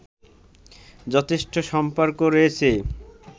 যথেষ্ট সম্পর্ক রয়েছে